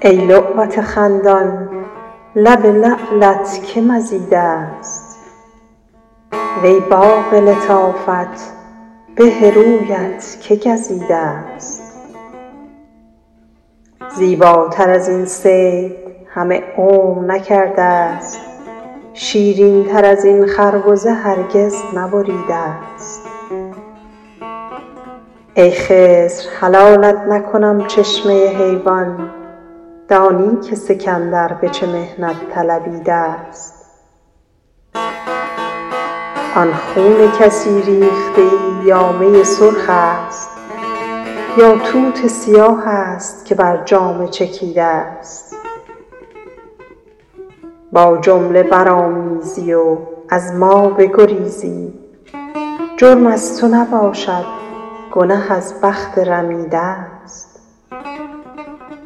ای لعبت خندان لب لعلت که مزیده ست وی باغ لطافت به رویت که گزیده ست زیباتر از این صید همه عمر نکرده ست شیرین تر از این خربزه هرگز نبریده ست ای خضر حلالت نکنم چشمه حیوان دانی که سکندر به چه محنت طلبیده ست آن خون کسی ریخته ای یا می سرخ است یا توت سیاه است که بر جامه چکیده ست با جمله برآمیزی و از ما بگریزی جرم از تو نباشد گنه از بخت رمیده ست نیک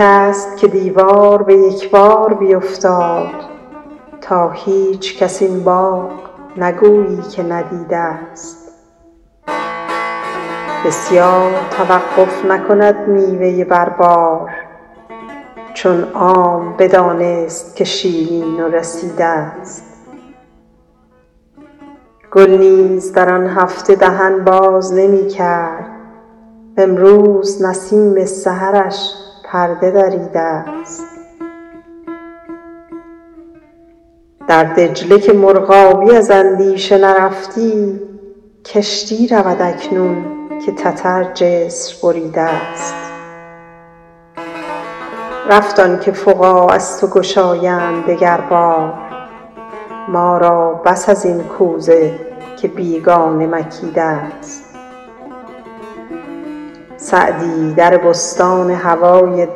است که دیوار به یک بار بیفتاد تا هیچکس این باغ نگویی که ندیده ست بسیار توقف نکند میوه بر بار چون عام بدانست که شیرین و رسیده ست گل نیز در آن هفته دهن باز نمی کرد وامروز نسیم سحرش پرده دریده ست در دجله که مرغابی از اندیشه نرفتی کشتی رود اکنون که تتر جسر بریده ست رفت آن که فقاع از تو گشایند دگر بار ما را بس از این کوزه که بیگانه مکیده ست سعدی در بستان هوای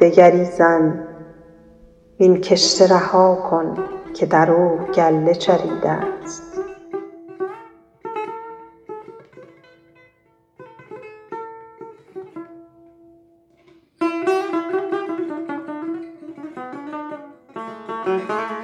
دگری زن وین کشته رها کن که در او گله چریده ست